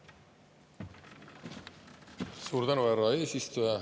Suur tänu, härra eesistuja!